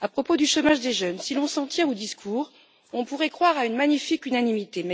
À propos du chômage des jeunes, si l'on s'en tient aux discours, on pourrait croire à une magnifique unanimité.